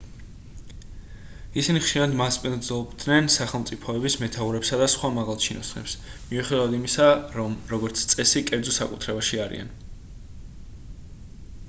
ისინი ხშირად მასპინძლობენ სახელმწიფოების მეთაურებსა და სხვა მაღალჩინოსნებს მიუხედავად იმისა რომ როგორც წესი კერძო საკუთრებაში არიან